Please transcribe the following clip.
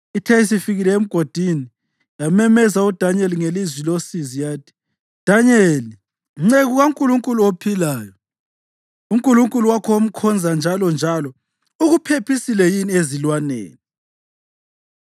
Ithe isifikile emgodini, yamemeza uDanyeli ngelizwi losizi yathi, “Danyeli, nceku kaNkulunkulu ophilayo, uNkulunkulu wakho omkhonza njalonjalo ukuphephisile yini ezilwaneni?”